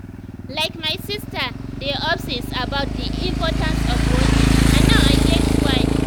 like my sister dey obsess about the importance of walking and now i get why.